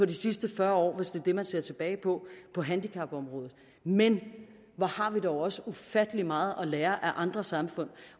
de sidste fyrre år hvis det er det man ser tilbage på handicapområdet men hvor har vi dog også ufattelig meget at lære af andre samfund